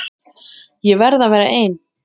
Ég verð að vera ein.